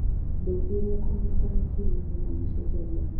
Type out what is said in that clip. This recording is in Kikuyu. ndeĩtherĩrĩa kunyĩta nĩ kĩĩ magetha macenjagĩa